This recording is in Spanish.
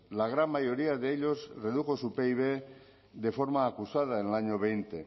la gran mayoría de ellos redujo su pib de forma acusada en el año veinte